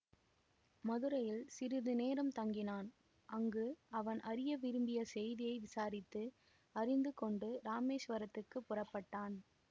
மதுரையில் சிறிது நேரம் தங்கினான் அங்கு அவன் அறிய விரும்பிய செய்தியை விசாரித்து அறிந்து கொண்டு இராமேசுவரத்துக்கு புறப்பட்டான்